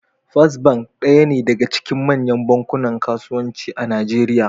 First bank daya ne daga cikin manyan bankunan kasuwanci a Najeriya.